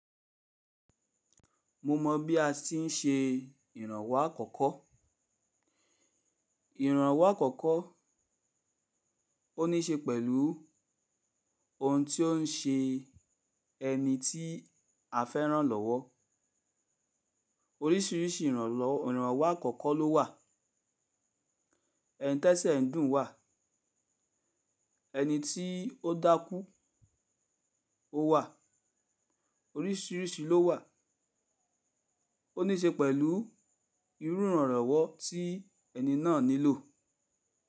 Mo mọ̀ bí a ti ń ṣe ìrànwọ́ àkọ́kọ́. Ìrànwọ́ àkọ́kọ́ ó ní ṣe pẹ̀lú ohun tí ó ń ṣe ẹni tí a fẹ́ràn lọ́wọ́. Orísìírísìí ìrànlọ́ ìrànwọ́ àkọ́kọ́ ló wà. Ẹ̀ni tẹ́sẹ̀ ń dùn wà, ẹni tí ó dákú ó wà, orísìírísìí ló wà. Ó ní ṣe pẹ̀lú irú ìrànlọ́wọ́ tí ẹni náà nílò.